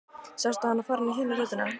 Sástu hana fara inn í hina rútuna?